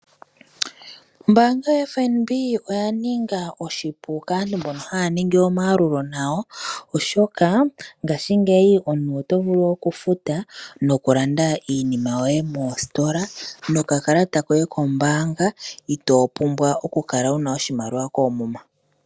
Ombaanga yaFNB oya ninga oshipu kaantu mbono haya ningi omayalulo nayo. Oshoka ngashingeyi omuntu oto vulu okufuta nokulanda iinima yoye moositola nokakalata koye kombaanga itoo pumbwa okukala wuna oshimaliwa koomuma.